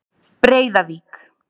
Breiðavík